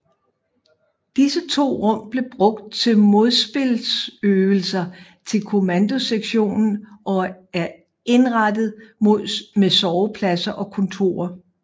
Disse to rum blev brugt til modspilsøvelser til kommandosektionen og er indrettet med sovepladser og kontorer